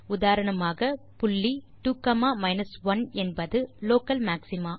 உதாரணமாக புள்ளி 2 1 என்பது லோக்கல் மாக்ஸிமா